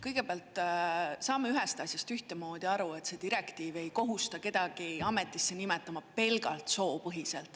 Kõigepealt, saame ühest asjast ühtemoodi aru: see direktiiv ei kohusta kedagi ametisse nimetama pelgalt soo põhjal.